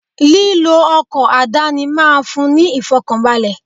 Lílọ ọkọ̀ àdáni máa fún ní ìfọ̀kànbalè.